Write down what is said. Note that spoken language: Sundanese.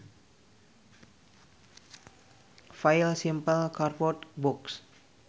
File Simple cardboard box